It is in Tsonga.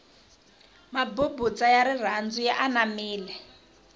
mabubutsa ya rirhandu ya anamile